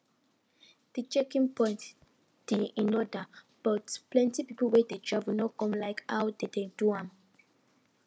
de checking point de in order but plenty people wey dey travel no come like how dem do am